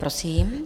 Prosím.